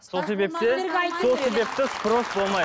сол себептен сол себепті спрос болмайды